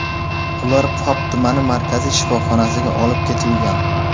Ular Pop tumani markaziy shifoxonasiga olib ketilgan.